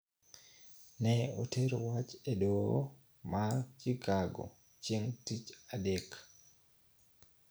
Ne otero wach e doho man Chicago chieng ' Tich Adek.